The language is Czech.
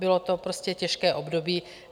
Bylo to prostě těžké období.